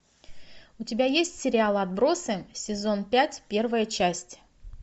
у тебя есть сериал отбросы сезон пять первая часть